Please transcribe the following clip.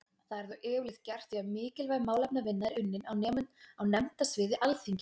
Það er þó yfirleitt gert því að mikilvæg málefnavinna er unninn á nefndasviði Alþingis.